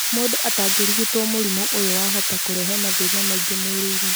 Mũndũ atarigitwo mũrimũ ũyũ wahota kũrehe mathĩna maingĩ mwĩrĩ-inĩ